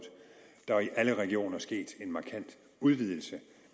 der er i alle regioner sket en markant udvidelse